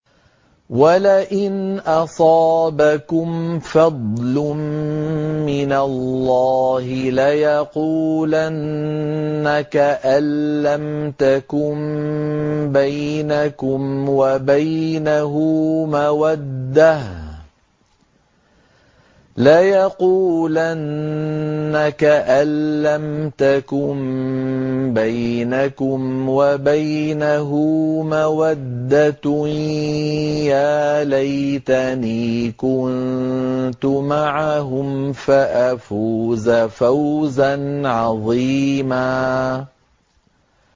وَلَئِنْ أَصَابَكُمْ فَضْلٌ مِّنَ اللَّهِ لَيَقُولَنَّ كَأَن لَّمْ تَكُن بَيْنَكُمْ وَبَيْنَهُ مَوَدَّةٌ يَا لَيْتَنِي كُنتُ مَعَهُمْ فَأَفُوزَ فَوْزًا عَظِيمًا